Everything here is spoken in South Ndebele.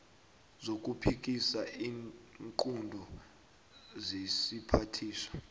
zokuphikisa iinqunto zesiphathiswa